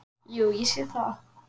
Jú, ég sé það.